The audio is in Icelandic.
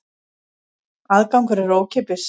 Aðgangur er ókeypis.